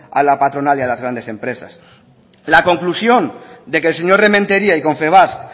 a la patronal y a las grandes empresas la conclusión de que el señor rementeria y confebask